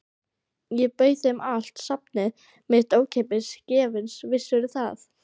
Ég bauð þeim allt safnið mitt, ókeypis, gefins, vissirðu það?